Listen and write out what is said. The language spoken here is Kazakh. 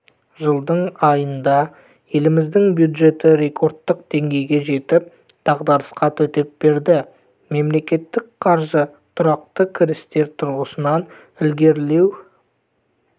жылдың айында еліміздің бюджеті рекордтық деңгейге жетіп дағдарысқа төтеп берді мемлекеттік қаржы тұрақты кірістер тұрғысынан ілгерілеу